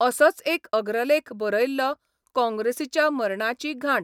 असोच एक अग्रलेख बरयल्लो काँग्रेसीच्या मरणाची घांट.